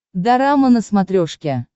дорама на смотрешке